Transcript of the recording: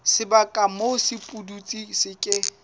sebaka moo sepudutsi se ke